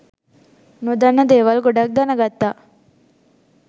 නොදන්න දේවල් ගොඩක් දැනගත්තා